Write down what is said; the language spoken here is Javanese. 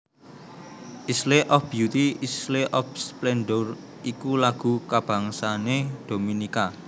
Isle of Beauty Isle of Splendour iku lagu kabangsané Dominika